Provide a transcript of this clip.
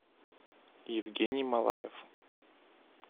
евгений малаев